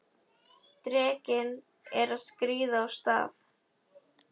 Drekinn er að skríða af stað!